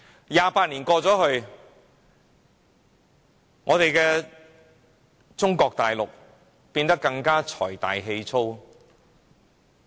二十八年過去，中國變得更財大氣粗。